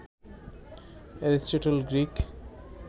Aristotle Greek